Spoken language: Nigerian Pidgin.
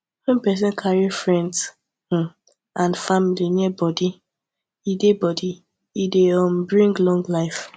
when person carry friends um and family near body e dey body e dey um bring long life